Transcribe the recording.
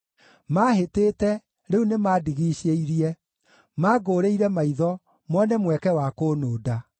Maahĩtĩte, rĩu nĩmandigiicĩirie, mangũũrĩire maitho, mone mweke wa kũnũnda.